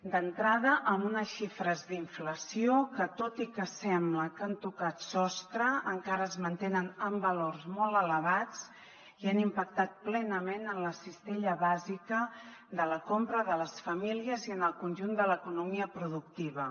d’entrada amb unes xifres d’inflació que tot i que sembla que han tocat sostre encara es mantenen en valors molt elevats i han impactat plenament en la cistella bàsica de la compra de les famílies i en el conjunt de l’economia productiva